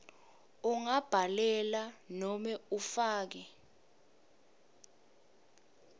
ungabhalela nobe ufake